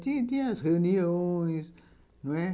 Tinha tinha as reuniões, não é?